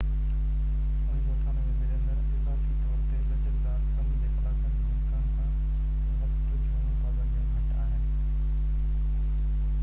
اضافي طور تي، لچڪدار ڪم جي ڪلاڪن جي امڪان سان وقت جون پابنديون گهٽ آهن. بريمر، 1998